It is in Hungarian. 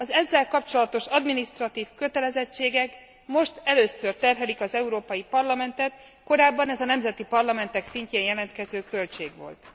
Az ezzel kapcsolatos adminisztratív kötelezettségek most először terhelik az Európai Parlamentet, korábban ez a nemzeti parlamentek szintjén jelentkező költség volt.